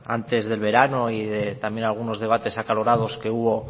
antes del verano y de también algunos debates acalorados que hubo